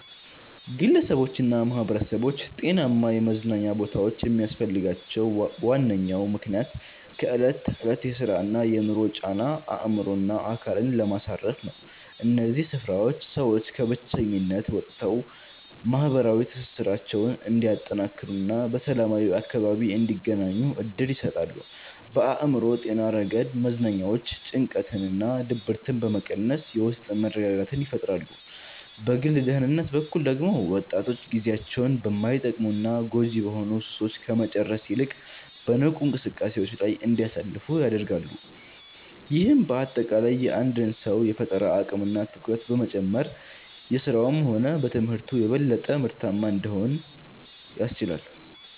ግለሰቦችና ማኅበረሰቦች ጤናማ የመዝናኛ ቦታዎች የሚያስፈልጋቸው ዋነኛው ምክንያት ከዕለት ተዕለት የሥራና የኑሮ ጫና አእምሮንና አካልን ለማሳረፍ ነው። እነዚህ ስፍራዎች ሰዎች ከብቸኝነት ወጥተው ማኅበራዊ ትስስራቸውን እንዲያጠናክሩና በሰላማዊ አካባቢ እንዲገናኙ ዕድል ይሰጣሉ። በአእምሮ ጤና ረገድ መዝናኛዎች ጭንቀትንና ድብርትን በመቀነስ የውስጥ መረጋጋትን ይፈጥራሉ። በግል ደህንነት በኩል ደግሞ ወጣቶች ጊዜያቸውን በማይጠቅሙና ጎጂ በሆኑ ሱሶች ከመጨረስ ይልቅ በንቁ እንቅስቃሴዎች ላይ እንዲያሳልፉ ያደርጋሉ። ይህም በአጠቃላይ የአንድን ሰው የፈጠራ አቅምና ትኩረት በመጨመር በሥራውም ሆነ በትምህርቱ የበለጠ ምርታማ እንዲሆን ያስችላል።